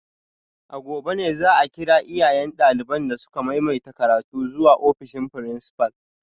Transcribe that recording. A gobe ne za a kira iyayen daliban da suka maimaita karatu zuwa ofishin principal